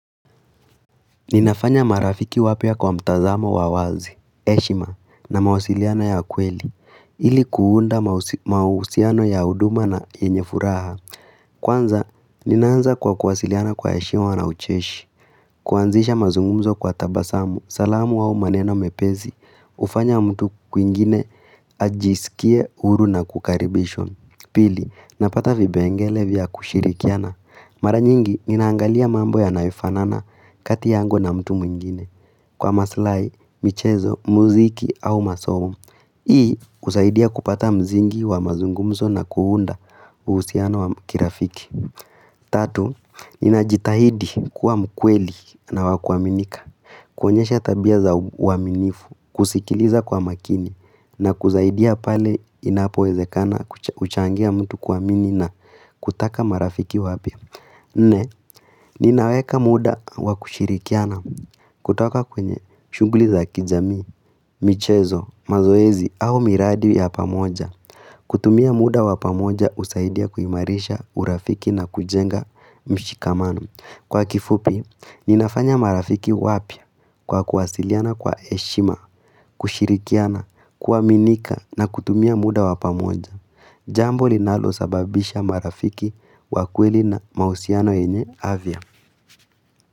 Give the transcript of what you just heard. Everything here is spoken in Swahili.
Ninafanya marafiki wapya kwa mtazamo wa wazi, heshima na mawasiliana ya kweli ili kuunda mahusiano ya huduma na yenye furaha. Kwanza, ninaanza kwa kuwasiliana kwa heshiwa na ucheshi, kuanzisha mazungumzo kwa tabasamu. Salamu au maneno mepesi hufanya mtu kwingine ajisikie huru na kukaribishwa. Pili, napata vipengele vya kushirikiana. Mara nyingi, ninaangalia mambo yanayofanana kati yangu na mtu mwingine. Kwa maslahi, michezo, muziki au masomo. Hii husaidia kupata msingi wa mazungumzo na kuunda uhusiano wa kirafiki. Tatu, ninajitahidi kuwa mkweli na wakuaminika, kuonyesha tabia za uaminifu, kusikiliza kwa makini na kusaidia pale inapowezekana uchangia mtu kuamini na kutaka marafiki wapya Nne, ninaweka muda wakushirikiana kutoka kwenye shunguli ya kijamii, michezo, mazoezi au miradi ya pamoja. Kutumia muda wa pamoja husaidia kuimarisha urafiki na kujenga mshikamano. Kwa kifupi, ninafanya marafiki wapya kwa kuwasiliana kwa heshima, kushirikiana, kuaminika na kutumia muda wa pamoja. Jambo linalosababisha marafiki wa kweli na mahusiano yenye afya.